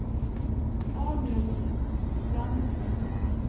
Arnulf Frantzen